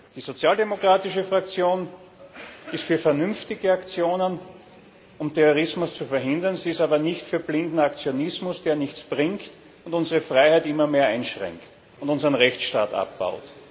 Die sozialdemokratische Fraktion ist für vernünftige Aktionen, um Terrorismus zu verhindern, sie ist aber nicht für blinden Aktionismus, der nichts bringt und unsere Freiheit immer mehr einschränkt und unseren Rechtsstaat abbaut.